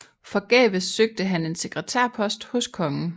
Forgæves søgte han en sekretærpost hos kongen